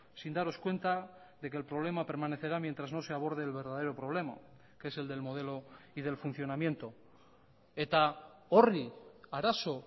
sin daros cuenta de que el problema permanecerá mientras no se aborde el verdadero problema que es el del modelo y del funcionamiento eta horri arazo